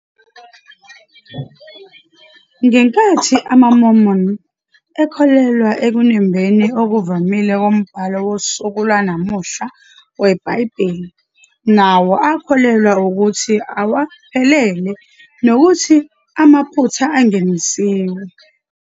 Ngenkathi amaMormon ekholelwa ekunembeni okuvamile kombhalo wosuku lwanamuhla weBhayibheli, nawo akholelwa ukuthi awaphelele nokuthi amaphutha angenisiwe.